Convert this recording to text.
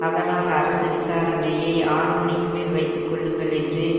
அதனால் விசாரணையை ஆறுமணிக்கு மேல் வைத்துக்கொள்ளுங்கள் என்று